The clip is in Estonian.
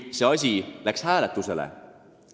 See asi läks euroliidus hääletusele.